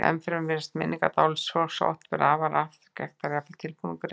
Ennfremur virðast minningar dáleidds fólks oft vera afar skekktar, jafnvel tilbúningur einn.